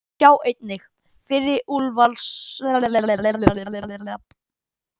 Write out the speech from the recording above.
Sjá einnig: Fyrri úrvalslið í ítalska boltanum